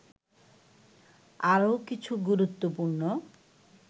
আরও কিছু গুরুত্বপূর্ণ